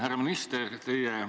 Härra minister!